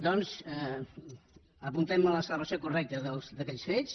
doncs apuntem nos a la celebració correcta d’aquells fets